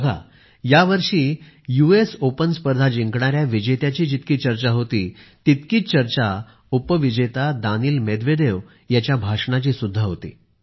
बघा यावर्षी US Open स्पर्धा जिंकण्याची जितकी चर्चा होती तितकीच चर्चा उपविजेता दानील मेदवेदेव यांच्या भाषणाचीसुद्धा होती